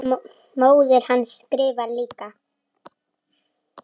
Móðir hans skrifar líka.